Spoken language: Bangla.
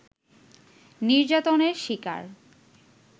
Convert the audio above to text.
নির্যাতনের শিকার